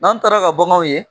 N'an taara ka baganw ye